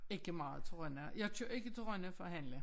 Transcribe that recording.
Ikke meget til Rønne jeg kører ikke til Rønne for at handle